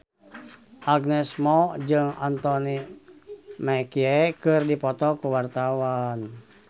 Agnes Mo jeung Anthony Mackie keur dipoto ku wartawan